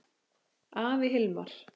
Afi Hilmar.